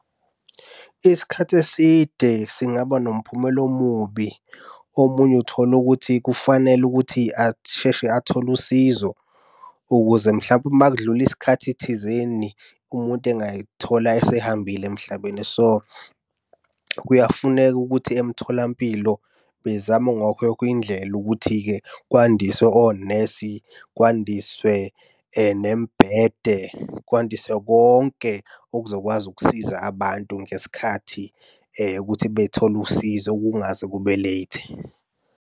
Isikhathi eside singaba nomphumela omubi. Omunye uthola ukuthi kufanele ukuthi asheshe athole usizo ukuze mhlampe uma kudlula isikhathi thizeni, umuntu engay'thola esehambile emhlabeni. So, kuyafuneka ukuthi emtholampilo bezame indlela ukuthi-ke kwandiswe onesi, kwandiswe nemibhede, kwandiswe konke okuzokwazi ukusiza abantu ngesikhathi ukuthi bethole usizo kungaze kube late.